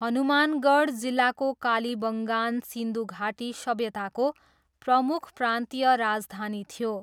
हनुमानगढ जिल्लाको कालीबङ्गान सिन्धु घाटी सभ्यताको प्रमुख प्रान्तीय राजधानी थियो।